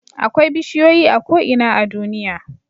Akwai bishiyoyi a ko'ina a duniya